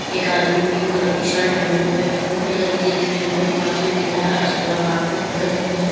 एक आदमी pink colour की शर्ट पेहने हुए ब्लू कलर की जीन्स पेहने हुए पास में दिख रहा है अस्तूरा हाथ में पकड़े हुए हैं।